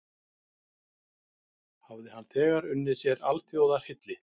Hafði hann þegar unnið sér alþjóðarhylli.